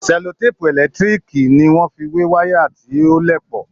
Sẹlotèèpù ẹlẹ́tíriììkì ni wọ́n fi wé wàyà tí ò léèpo